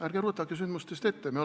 Ärge rutake sündmustest ette!